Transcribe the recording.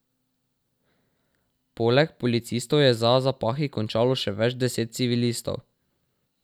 Poleg policistov je za zapahi končalo še več deset civilistov.